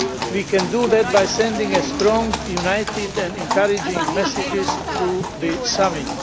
We can do that by sending strong, united and encouraging messages through this summit.